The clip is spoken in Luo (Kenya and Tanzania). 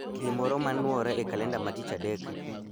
Gimoro ma nuore e kalenda ma tich adek